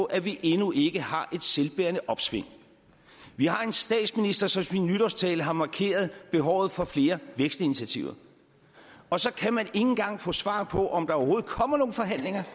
at vi endnu ikke har et selvbærende opsving vi har en statsminister som i sin nytårstale har markeret behovet for flere vækstinitiativer og så kan man engang få svar på om der overhovedet kommer nogle forhandlinger